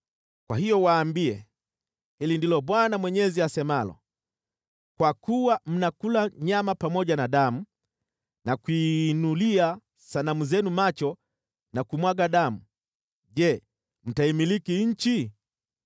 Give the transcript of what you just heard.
Kwa hiyo waambie, ‘Hili ndilo Bwana Mwenyezi asemalo: Kwa kuwa mnakula nyama pamoja na damu na kuinulia sanamu zenu macho na kumwaga damu, je, mtaimiliki nchi?